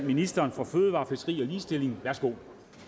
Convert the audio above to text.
ministeren for fødevarer fiskeri og ligestilling værsgo